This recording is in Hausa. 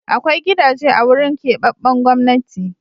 Akwai gidaje a wurin keɓaɓɓen Gwamnati.